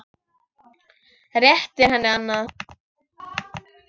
Réttir henni annað.